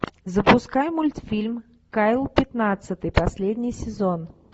запускай мультфильм кайл пятнадцатый последний сезон